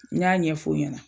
N y'a ɲɛf'o ɲɛna